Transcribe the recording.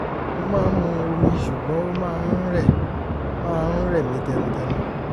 mo máa ń mu omi ṣùgbọ́n ó máa ń rẹ̀ máa ń rẹ̀ mí tẹnutẹnu